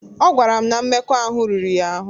Ọ gwara m na mmekọahụ riri ya ahụ́.